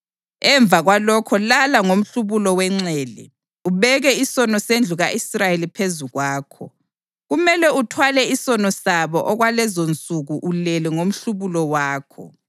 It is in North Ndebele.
Emva kwalokho lala ngomhlubulo wenxele, ubeke isono sendlu ka-Israyeli phezu kwakho. Kumele uthwale isono sabo okwalezonsuku ulele ngomhlubulo wakho.